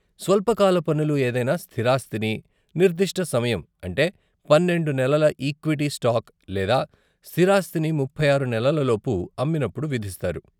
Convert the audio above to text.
స్వల్పకాల పన్నులు, ఏదైనా స్థిరాస్తిని నిర్దిష్ట సమయం, అంటే పన్నెండు నెలల ఈక్విటీ స్టాక్ లేదా స్థిరాస్థిని ముప్పై ఆరు నెలల లోపు అమ్మినప్పుడు విధిస్తారు.